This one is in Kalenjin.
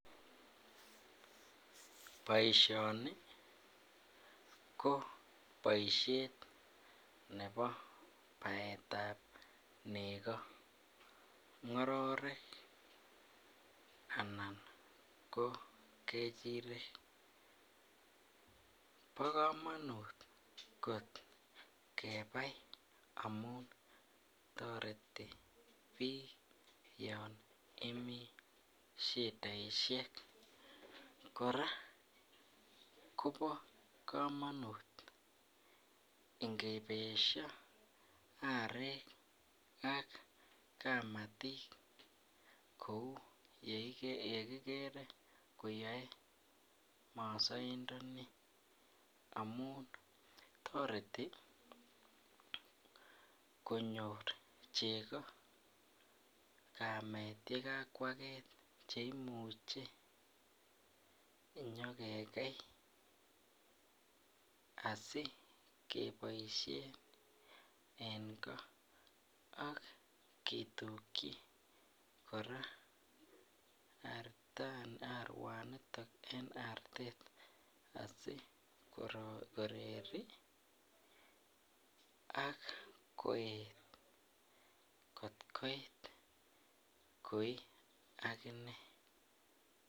Boisioni ko boisiet ne bo baetab negoo, ngororek anan koo kechirek bokomonut kot kebai amun toreti biik yon imii shidaisiek, kora kobo komonut ngibesho arek aka kamatik ,kou yekikere koyoe mosoindoni amun toreti konyor cheko kamet yekakwaket cheimuche inyokekei asikeboisien en gaa akitukyi arawaniton en aret asikoreri akoet kot koit koi aginee.